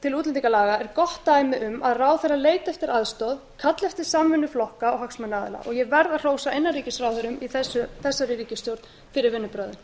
til útlendingalaga er gott dæmi um að ráðherra leiti eftir aðstoð kalli betur samvinnu flokka og hagsmunaaðila og ég verð að hrósa innanríkisráðherrum í þessari ríkisstjórn fyrir vinnubrögðin